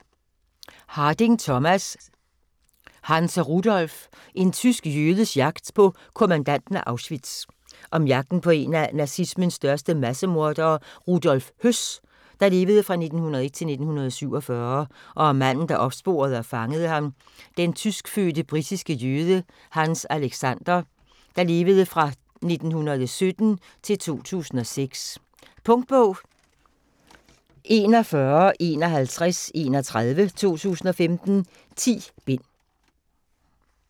Harding, Thomas: Hanns og Rudolf: en tysk jødes jagt på kommandanten af Auschwitz Om jagten på en af nazismens største massemordere, Rudolf Höss (1901-1947), og om manden der opsporede og fangede ham, den tyskfødte britiske jøde, Hanns Alexander (1917-2006). Punktbog 415131 2015. 10 bind.